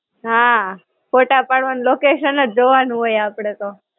હાં, ફોટા પાડવાનું location જ જોવાનું હોય આપડે તો.